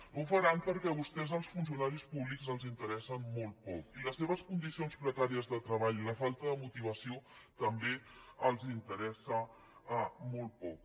no ho faran perquè a vostès els funcionaris públics els interessen molt poc i les seves condicions precàries de treball i la falta de motivació també els interessen molt poc